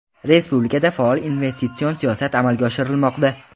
Respublikada faol investitsion siyosat amalga oshirilmoqda.